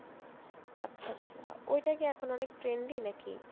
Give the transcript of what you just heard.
আচ্ছা আচ্ছা ওটা কি এখন অনেক trendy নাকি?